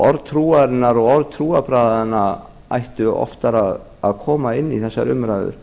orð trúarinnar og orð trúarbragðanna ættu oftar að koma inn í þessar umræður